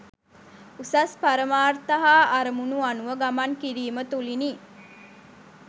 උසස් පරමාර්ථ හා අරමුණු අනුව ගමන් කිරීම තුළිනි.